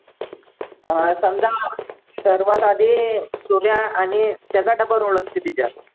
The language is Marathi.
अं समजा सर्वात आधी सूर्या आणि त्याचा double role असते त्याच्यात